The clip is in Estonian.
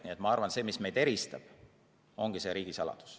Nii et ma arvan, et see, mis meid eristab, ongi riigisaladus.